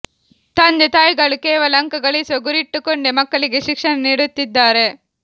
ತಂದೆ ತಾಯಿ ಗಳು ಕೇವಲ ಅಂಕ ಗಳಿಸುವ ಗುರಿ ಇಟ್ಟುಕೊಂಡೆ ಮಕ್ಕಳಿಗೆ ಶಿಕ್ಷಣ ನೀಡು ತ್ತಿದ್ದಾರೆ